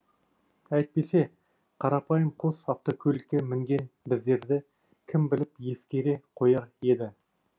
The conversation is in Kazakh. әйтпесе қарапайым қос автокөлікке мінген біздерді кім біліп ескере қояр еді